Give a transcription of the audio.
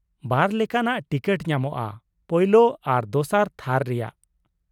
ᱵᱟᱨ ᱞᱮᱠᱟᱱᱟᱜ ᱴᱤᱠᱤᱴ ᱧᱟᱢᱚᱜᱼᱟ, ᱯᱳᱭᱞᱳ ᱟᱨ ᱫᱚᱥᱟᱨ ᱛᱷᱟᱨ ᱨᱮᱭᱟᱜ ᱾